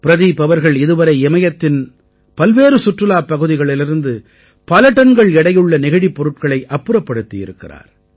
பிரதீப் அவர்கள் இதுவரை இமயத்தின் பல்வேறு சுற்றுலாப் பகுதிகளிலிருந்து பல டன்கள் எடையுள்ள நெகிழிப் பொருள்களை அப்புறப்படுத்தியிருக்கிறார்